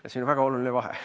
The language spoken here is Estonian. Ja see on väga oluline vahe.